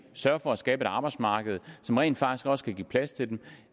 sørge for at skabe et arbejdsmarked som rent faktisk også kan give plads til dem